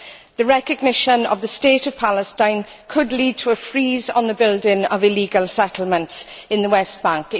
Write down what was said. The recognition of the state of Palestine could lead to a freeze on the building of illegal settlements on the West Bank.